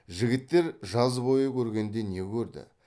жігіттер жаз бойы көргенде не көрді